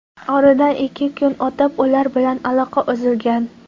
Oradan ikki kun o‘tib, ular bilan aloqa uzilgan.